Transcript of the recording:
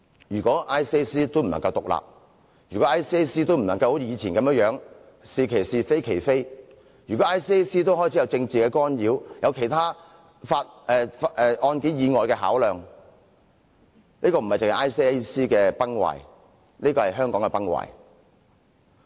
如果 ICAC 也不能獨立，如果 ICAC 也不能好像以前一樣是其是，非其非，如果 ICAC 也開始受到政治干擾、有案件以外的其他考量，這不單是 ICAC 的崩壞，而是香港的崩壞。